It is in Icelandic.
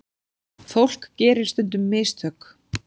Fólk gerir stundum mistök.